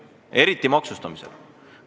Eriti käib see maksustamissüsteemi kohta.